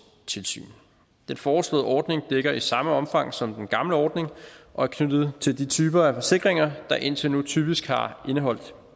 tilsyn den foreslåede ordning dækker i samme omfang som den gamle ordning og er knyttet til de typer af forsikringer der indtil nu typisk har indeholdt